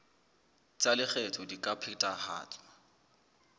tsa lekgetho di ka phethahatswa